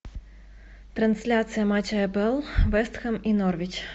трансляция матча апл вест хэм и норвич